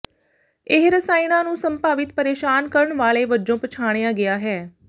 ਇਹ ਰਸਾਇਣਾਂ ਨੂੰ ਸੰਭਾਵਿਤ ਪਰੇਸ਼ਾਨ ਕਰਨ ਵਾਲੇ ਵਜੋਂ ਪਛਾਣਿਆ ਗਿਆ ਹੈ